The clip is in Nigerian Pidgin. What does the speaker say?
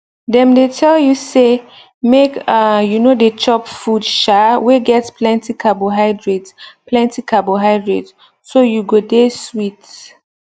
dem dey tell you say make um you no dey chop food um wey get plenty carbohydrate plenty carbohydrate so you go dey sweet